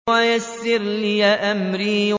وَيَسِّرْ لِي أَمْرِي